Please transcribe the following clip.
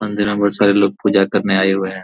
अंदर मे बहुत सारे लोग पूजा करने आए हुए है ।